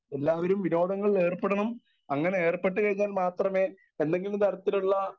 Speaker 1 എല്ലാവരും വിനോദങ്ങളിൽ ഏർപ്പെടണം. അങ്ങനെ ഏർപ്പെട്ടു കഴിഞ്ഞാൽ മാത്രമേ എന്തെങ്കിലും തരത്തിലുള്ള